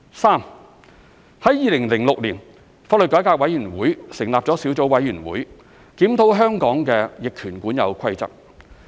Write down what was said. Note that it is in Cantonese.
三2006年，香港法律改革委員會成立小組委員會，檢討香港的逆權管有規則。